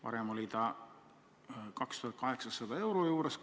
Varem oli see kuskil 2800 euro juures.